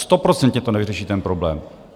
Stoprocentně to nevyřeší ten problém.